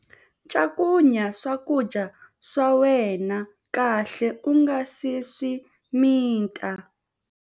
Cakunya swakudya swa wena kahle u nga si swi mita.